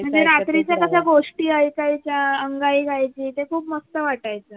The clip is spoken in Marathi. म्हणजे रात्रीच कस गोष्टी ऐकायच्या अंगाई गायची ते खूप मस्त वाटायचं